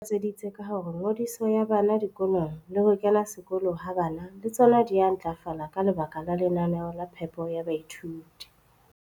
Rakwena o tlatseditse ka hore ngodiso ya bana dikolong le ho kena sekolo ha bana le tsona di a ntlafala ka lebaka la lenaneo la phepo ya baithuti.